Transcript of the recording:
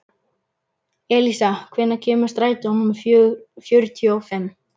Elísa, hvenær kemur strætó númer fjörutíu og fimm?